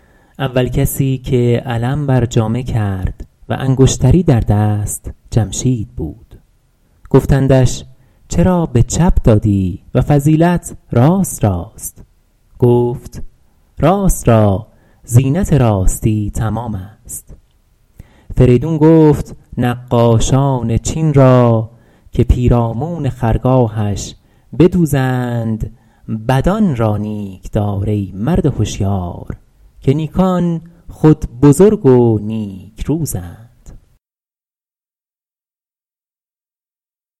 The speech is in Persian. اول کسی که علم بر جامه کرد و انگشتری در دست جمشید بود گفتندش چرا به چپ دادی و فضیلت راست راست گفت راست را زینت راستی تمام است فریدون گفت نقاشان چین را که پیرامون خرگاهش بدوزند بدان را نیک دار ای مرد هشیار که نیکان خود بزرگ و نیک روزند